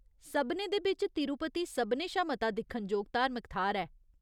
सभनें दे बिच्च तिरुपति सभनें शा मता दिक्खनजोग धार्मिक थाह्‌र ऐ।